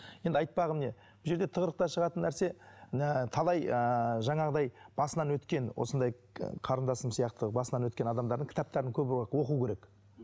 енді айтпағым не бұл жерде тығырықтан шығатын нәрсе талай ыыы жаңағыдай басынан өткен осындай қарындасым сияқты басынан өткен адамдардың кітаптарын оқу керек